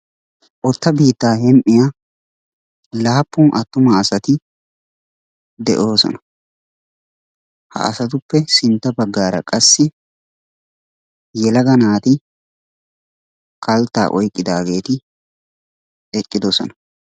Otta biittaa hem'iya laappun attuma asati de'oosona. Ha asatuppe sintta baggaara qassi yelaga naati kalttaa oyqqigdaageeti eqqidosona.